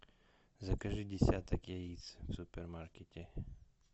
закажи десяток яиц в супермаркете